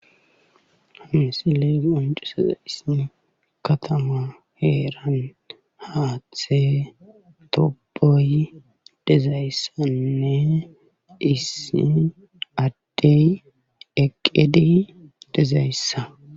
Hayssi qonccisizayssi katama heeran haaththe tuuboy dizayssanne issi adde eqqidi dizayssa.